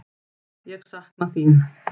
Ég sakna þín.